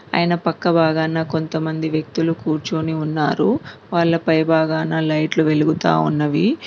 ఆయన పక్క భాగాన కొంతమంది వ్యక్తులు కూర్చొని ఉన్నారు వాళ్ళ పై భాగాన లైట్లు వెలుగుతా ఉన్నవి.